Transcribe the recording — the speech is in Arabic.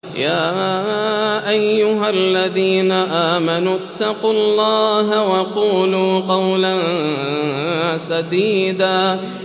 يَا أَيُّهَا الَّذِينَ آمَنُوا اتَّقُوا اللَّهَ وَقُولُوا قَوْلًا سَدِيدًا